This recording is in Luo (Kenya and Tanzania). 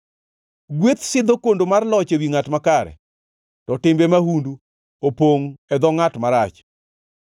Gweth sidho kondo mar loch ewi ngʼat makare, to timbe mahundu opongʼ e dho ngʼat marach.